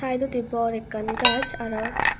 saidodi bor ekkan gaaj aro.